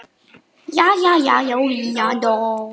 Og geyma hana líka.